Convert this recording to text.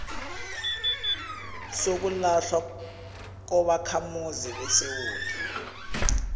sokulahlwa kobakhamuzi besewula